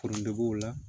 Forontoburuw la